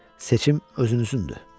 Seçim özünüzündür.